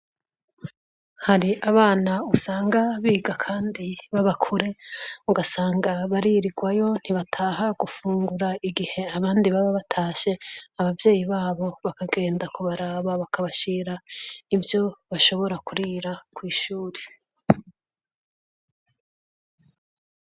Hari abana usanga biga kandi baba kure ugasanga baririgwayo ntibataha gufungura igihe abandi baba batashe abavyeyi babo bakagenda kubaraba bakabashira ivyo bashobora kurira kw'ishuri.